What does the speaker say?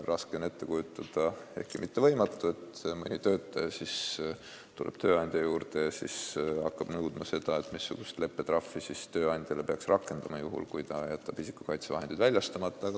Raske, ehkki mitte võimatu on ette kujutada, et töötaja tuleb tööandja juurde ja hakkab nõudma, missugust leppetrahvi peab siis tööandja suhtes rakendama, kui see on jätnud isikukaitsevahendid väljastamata.